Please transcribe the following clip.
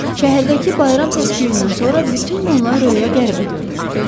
Şəhərdəki bayram səs-küyündən sonra bütün bunlar Röyə qəribə görünürdü.